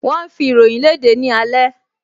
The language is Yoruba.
Wọ́n ń fi ìròyìn léde ní alẹ́